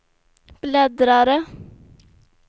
bläddrare